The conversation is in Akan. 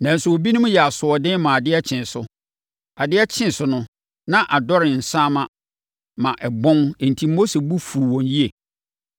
Nanso, ebinom yɛɛ asoɔden maa adeɛ kyee so. Adeɛ kyee so no, na adɔre nsaama ma ɛbɔn enti Mose bo fuu wɔn yie.